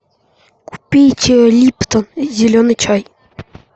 купить липтон зеленый чай